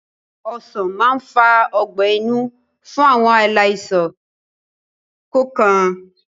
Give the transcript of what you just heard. Ọsán máa ń fa ọgbẹ́-inú fún àwọn aláìsàn kọọkan